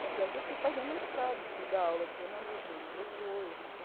Tanto é que eu fui fazer mestrado, fui dar aula de jornalismo anos depois, então...